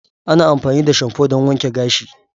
Ana amfani da shamfu don wanke gashi.